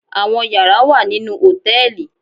Àwọn yàrá wà nínú hòtẹ́ẹ̀lì